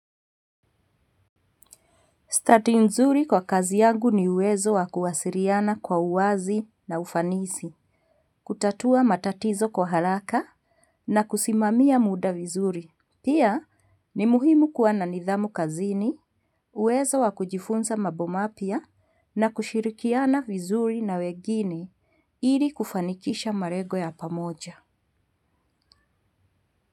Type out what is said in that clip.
Stati nzuri kwa kazi yangu ni uwezo wa kuwasiliana kwa uwazi na ufanisi. Kutatua matatizo kwa haraka na kusimamia muda vizuri. Pia ni muhimu kwa na nidhamu kazini, uwezo wa kujifunza mambo mapya na kushirikiana vizuri na wengine ili kufanikisha malengo ya pamoja.